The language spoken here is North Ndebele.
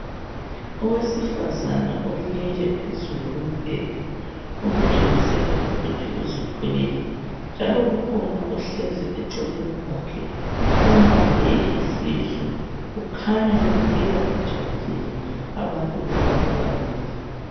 Owesifazana olele phezulu kombheda okutshengisela ukuthi uzithwele njalo kukhona ohlezi eceleni kwakhe ombambe isisu. Kukhanya bebukeka bejabulile abantu laba bobabili.